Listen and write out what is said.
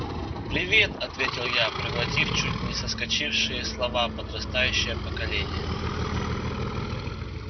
привет ответил я проглотив чуть не соскочившие слова подрастающее поколение